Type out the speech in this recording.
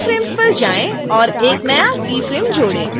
फिर keyframes पर जाएँ और एक नया keyframe जोड़ें